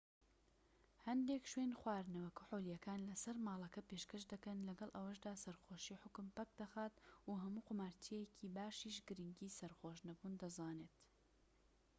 هەندێک شوێن خواردنەوە کحولیەکان لەسەر ماڵەکە پێشکەش دەکەن لەگەڵ ئەوەشدا سەرخۆشی حوکم پەکدەخات و هەموو قومارچییەکی باشیش گرنگی سەرخۆش نەبوون دەزانێت